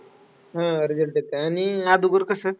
हा result येतं. आणि अगोदर कसं.